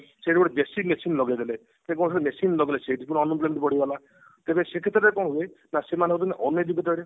ସେଠି ଗୋଟେ JCB machine ଲଗେଇଦେଲେ ଯେହେତୁ ସେମାନେ machine ଲଗେଇଲେ ସେଠି unemployment ବଢି ଗଲା ତେବେ ସେ କ୍ଷେତ୍ରରେ କଣ ହୁଏ ନା ସେମାନେ ହଉଛନ୍ତି uneducated